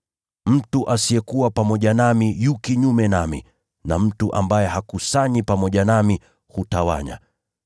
“Mtu asiyekuwa pamoja nami yu kinyume nami, na mtu ambaye hakusanyi pamoja nami, hutawanya.